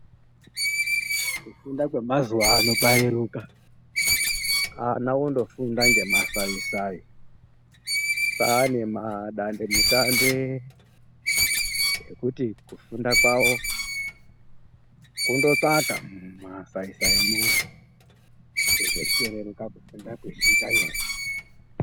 Kufunda kwemazuva ano kwareruka ana ondofunda ngemasai-sai. Kwane madandemutande ekuti kufunda kwavo kundotsvaka masai-saimwo, zvechitoreruka kufunda kwechiita nyore.